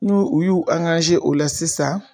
N'u u y'u o la sisan